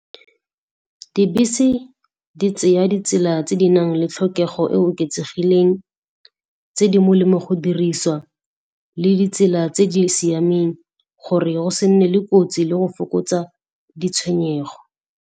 Dibese di tseya ditsela tse di nang le tlhokego e e oketsegileng tse di molemo go dirisiwa, le ditsela tse di siameng gore go se nne le kotsi le go fokotsa ditshwenyego.